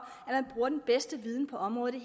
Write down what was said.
at bedste viden på området i